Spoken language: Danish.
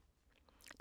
DR2